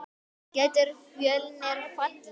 Getur Fjölnir fallið?